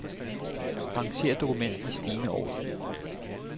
Arranger dokument i stigende orden.